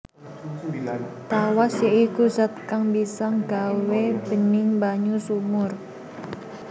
Tawas ya iku zat kang bisa nggawé bening banyu sumur